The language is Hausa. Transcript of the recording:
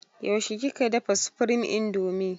Yaushe kika dafa supreme indomie?